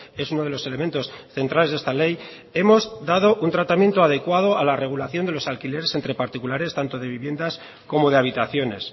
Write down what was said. es uno de los elementos centrales de esta ley hemos dado un tratamiento adecuado a la regulación de los alquileres entre particulares tanto de viviendas como de habitaciones